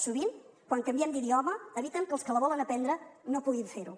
sovint quan canviem d’idioma eviten que els que la volen aprendre no puguin fer ho